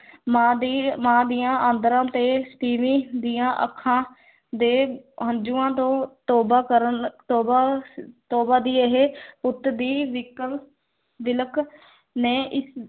ਮਾਂ ਦੀ ਮਾਂ ਦੀਆਂ ਆਂਦਰਾਂ ਤੇ ਤੀਵੀਂ ਦੀਆਂ ਅੱਖਾਂ ਦੇ ਹੰਝੂਆਂ ਤੋਂ ਤੌਬਾ ਕਰਨ, ਤੌਬਾ ਤੌਬਾ ਦੀ ਇਹ ਪੁੱਤ ਦੀ ਵਿੱਕਲ ਵਿਲਕ ਨੇ ਇਸ